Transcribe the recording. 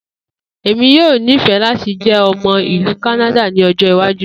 Emi yoo nifẹ lati jẹ ọmọ ilu Kanada ni ọjọ iwaju.